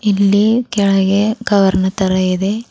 ಇಲ್ಲಿ ಕೆಳಗೆ ಕವರ್ ನ ತರ ಇದೆ.